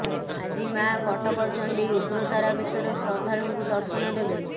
ଆଜି ମାଆ କଟକ ଚଣ୍ଡୀ ଉଗ୍ରତାରା ବେଶରେ ଶ୍ରଦ୍ଧାଳୁଙ୍କୁ ଦର୍ଶନ ଦେବେ